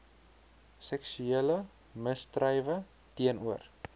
seksuele misdrywe teenoor